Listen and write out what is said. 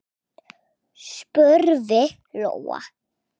spurði Lóa.